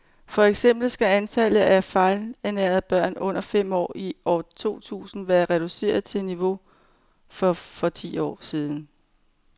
For eksempel skal antallet af fejlernærede børn under fem år i år to tusind være reduceret til niveauet for for ti år siden.